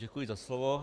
Děkuji za slovo.